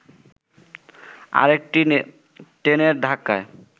আরেকটি ট্রেনের ধাক্কায়